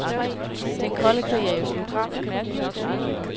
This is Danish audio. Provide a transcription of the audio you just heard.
Den kolde krig er jo slut.